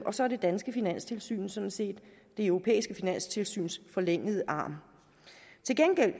og så er det danske finanstilsyn sådan set det europæiske finanstilsyns forlængede arm til gengæld